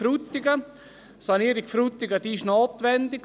Die Sanierung Frutigen ist notwendig.